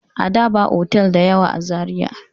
Ada ba otal da yawa a Zariya.